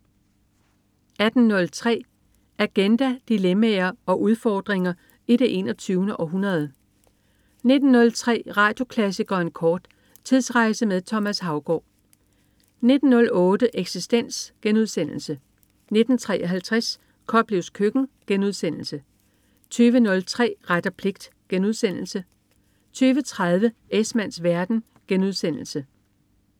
18.03 Agenda. Dilemmaer og udfordringer i det 21. århundrede 19.03 Radioklassikeren kort. Tidsrejse med Thomas Haugaard 19.08 Eksistens* 19.53 Koplevs Køkken* 20.03 Ret og pligt* 20.30 Esmanns verden*